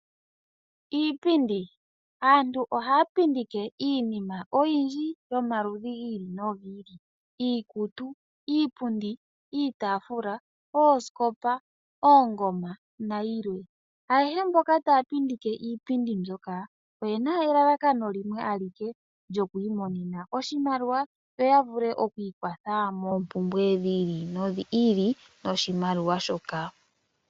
Iipindi. Aantu ohaya pundike iinima oyindji yomaludhi gi ili nogi ili iikutu, iipundi, iitaafula, oosikopa, oongoma nayilwe. Ayehe mboka taya pindike iipundi mboka oyena elalakano limwe alike lyoku imonena oshimaliwa yo yavule oku ikwatha moompumbwe dhi ili nodhi ili noshimaliwa shoka.